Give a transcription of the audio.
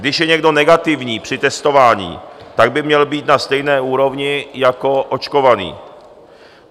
Když je někdo negativní při testování, tak by měl být na stejné úrovni jako očkovaný.